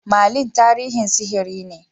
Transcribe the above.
Merlin tarihin sihiri ne.